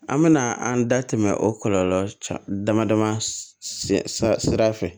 An bɛna an da tɛmɛ o kɔlɔlɔ dama dama sira fɛ